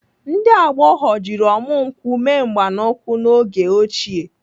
Ndị agbọghọ jiri ọmụ nkwụ mee mgbanụkwụ n'oge ochie.